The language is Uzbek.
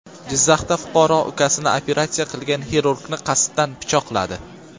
Jizzaxda fuqaro ukasini operatsiya qilgan xirurgni qasddan pichoqladi.